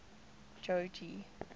jogee